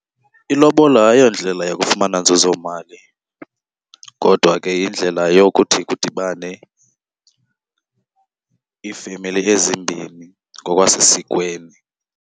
Ilobola ayondlela yakufumana nzuzomali kodwa ke yindlela yokuthi kudibane iifemeli ezimbini ngokwasesikweni.